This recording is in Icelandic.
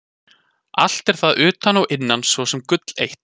Allt er það utan og innan svo sem gull eitt.